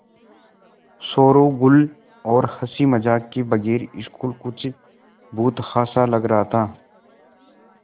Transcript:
शोरोगुल और हँसी मज़ाक के बगैर स्कूल कुछ भुतहा सा लग रहा था